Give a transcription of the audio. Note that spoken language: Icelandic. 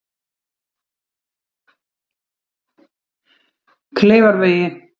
Kleifarvegi